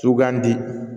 Sugandi